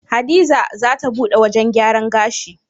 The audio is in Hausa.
Hadiza zata buɗe wajan gyaran gashi